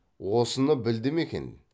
осыны білді ме екен